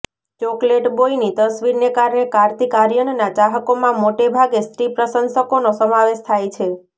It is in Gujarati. ચોકલેટ બોયની તસવીરને કારણે કાર્તિક આર્યનના ચાહકોમાં મોટે ભાગે સ્ત્રી પ્રશંસકોનો સમાવેશ થાય છે